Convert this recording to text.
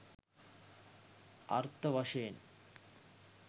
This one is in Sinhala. අර්ථ වශයෙන්